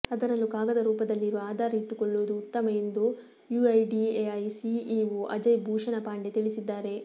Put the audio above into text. ಅದರಲ್ಲೂ ಕಾಗದ ರೂಪದಲ್ಲಿರುವ ಆಧಾರ್ ಇಟ್ಟುಕೊಳ್ಳುವುದು ಉತ್ತಮ ಎಂದು ಯುಐಡಿಎಐ ಸಿಇಒ ಅಜಯ್ ಭೂಷಣ ಪಾಂಡೆ ತಿಳಿಸಿದ್ದಾರೆ